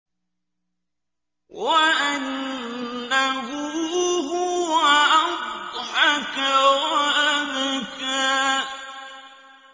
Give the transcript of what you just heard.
وَأَنَّهُ هُوَ أَضْحَكَ وَأَبْكَىٰ